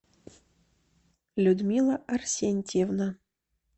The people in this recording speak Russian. людмила арсентьевна